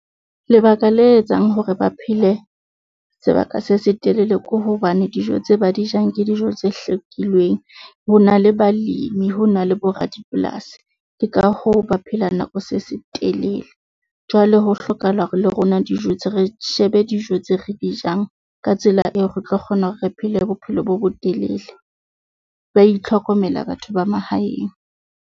Lebaka le etsang hore ba phele sebaka se se telele ko hobane dijo tse ba di jang ke dijo tse hlekilweng. Ho na le balemi ho na le bo radipolasi, ke ka hoo ba phelang nako se se telele. Jwale ho hlokahala hore le rona dijo tse re shebe dijo tse re di jang. Ka tsela eo, re tlo kgona hore re phele bophelo bo bo telele. Ba itlhokomela batho ba mahaeng.